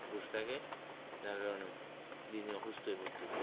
বসে থাকে যার কারনে দিন দিন অসুস্থ হয়ে পড়ছে হম দেখছ